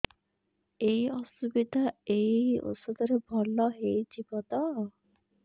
ଏଇ ଅସୁବିଧା ଏଇ ଔଷଧ ରେ ଭଲ ହେଇଯିବ ତ